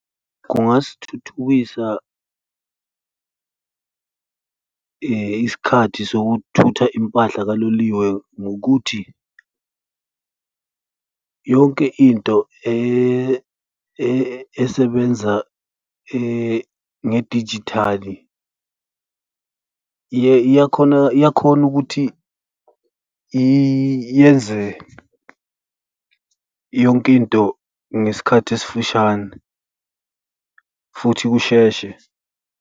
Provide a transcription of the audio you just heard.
Kungasithuthukisa isikhathi sokuthutha impahla kaloliwe ngokuthi yonke into esebenza ngedijithali iyakhona, iyakhona ukuthi yenze yonke into ngesikhathi esifishane futhi kusheshe.